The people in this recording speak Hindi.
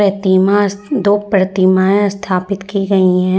प्रतिमा स दो प्रतिमाएं स्थापित की गई हैं।